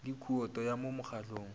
le khoutu ya mo mokgahlong